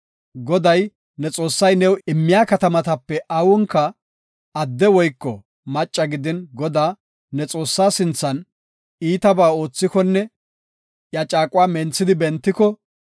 Goday, ne Xoossay new immiya katamatape awunka adde woyko macca gidin Godaa, ne Xoossaa sinthan iitaba oothikonne iya caaquwa menthidi bentiko,